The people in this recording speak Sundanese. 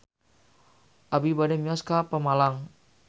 Abi bade mios ka Pemalang